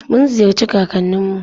Mun ziyarci kakannin mu.